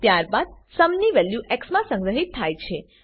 ત્યારબાદ સુમ ની value x માં સંગ્રહીત થાય છે